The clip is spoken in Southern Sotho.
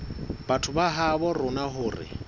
batho ba habo rona hore